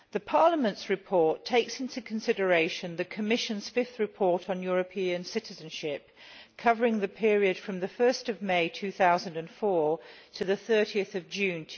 Parliament's report takes into consideration the Commission's fifth report on European citizenship, covering the period from 1 May 2004 to 30 June